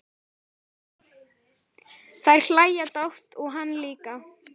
Þær hlæja dátt og hann líka.